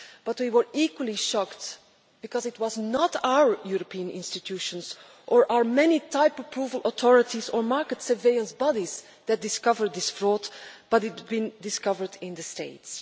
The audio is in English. But we were equally shocked because it was not our European institutions or our many type approval authorities or market surveillance bodies that discovered this fraud, but it had been discovered in the States.